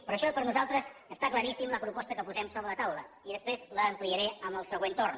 per això per nosaltres està claríssima la proposta que posem sobre la taula i després l’ampliaré amb el següent torn